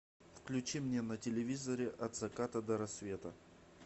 включи мне на телевизоре от заката до рассвета